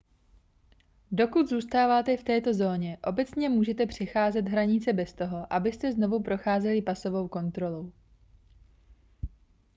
dokud zůstáváte v této zóně obecně můžete přecházet hranice bez toho abyste znovu procházeli pasovou kontrolou